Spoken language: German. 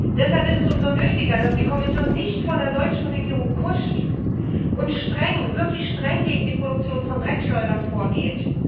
Deshalb ist es umso nötiger, dass die Kommission nicht vor der deutschen Regierung kuscht und wirklich streng gegen die Produktion von Dreckschleudern vorgeht.